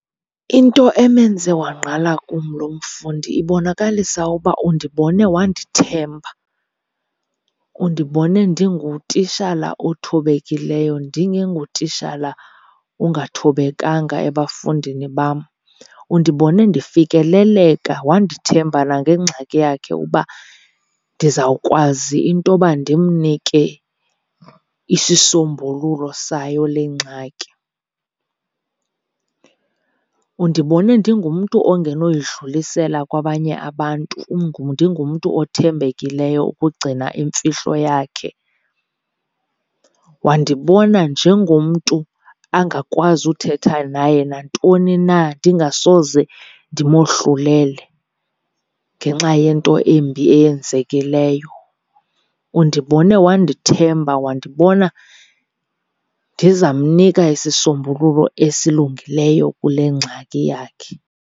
Into emenze wangqala kum lo mfundi ibonakalisa uba undibone wandithemba, undibone ndingutishala othobekileyo ndingengotishala ungathobekanga ebafundini bam. Undibone ndifikeleleka wandithemba nangengxaki yakhe uba ndizawukwazi intoba ndimnike isisombululo sayo le ngxaki. Undibone ndingumntu ongenoyidlulisela kwabanye abantu, ndingumntu othembekileyo ukugcina imfihlo yakhe, wandibona njengomntu angakwazi uthetha naye nantoni na ndingasoze ndimohlulele ngenxa yento embi eyenzekileyo. Undibone wandithemba, wandibona ndizamnika isisombululo esilungileyo kule ngxaki yakhe.